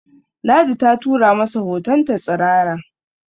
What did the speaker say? Ladi ta tura masa hotonta tsirara